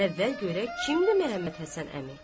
Əvvəl görək kimdir Məhəmmədhəsən əmi?